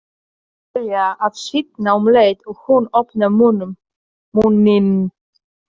Edda byrjar að svitna um leið og hún opnar munninn.